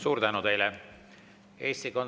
Suur tänu teile!